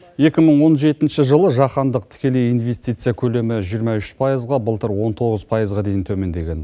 екі мың он жетінші жылы жаһандық тікелей инвестиция көлемі жиырма үш пайызға былтыр он тоғыз пайызға дейін төмендеген